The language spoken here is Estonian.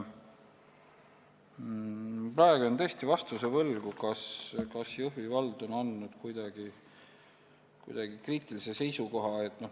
Praegu jään tõesti vastuse võlgu, kas Jõhvi vald on andnud kuidagi kriitilise seisukoha.